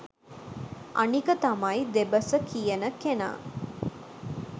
අනික තමයි දෙබස කියන කෙනා